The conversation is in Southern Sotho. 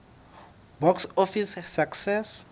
box office success